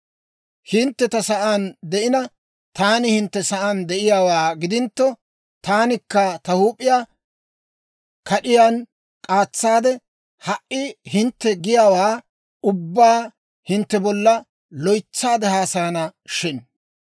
Hintte ta sa'aan de'ina, taani hintte sa'aan de'eeddawaa gidintto, taanikka ta huup'iyaa kad'iyaan k'aatsaadde, ha"i hintte giyaawaa ubbaa hintte bolla loytsaade haasayana shin!